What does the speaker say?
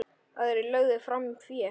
Aðrir lögðu fram fé.